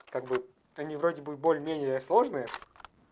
как бы они вроде бы более менее сложные